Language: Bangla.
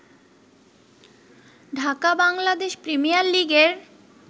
ঢাকা বাংলাদেশ প্রিমিয়ার লিগের